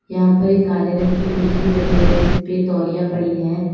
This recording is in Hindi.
यहां पर एक काले रंग की कुर्सी पड़ी है जिस पर तोलिया पड़ी है।